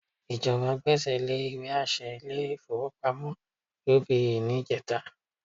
Ìjọba gbẹ́sẹ̀ lé ìwé àṣẹ ilé-ìfowópamọ́ UBA ní ìjẹta